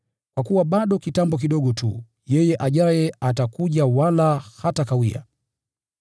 Kwa kuwa bado kitambo kidogo tu, “Yeye ajaye atakuja wala hatakawia.